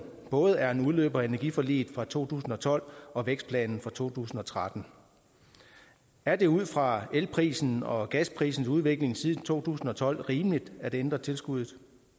både er en udløber af energiforliget fra to tusind og tolv og vækstplanen fra to tusind og tretten er det ud fra elprisens og gasprisens udvikling siden to tusind og tolv rimeligt at ændre tilskuddet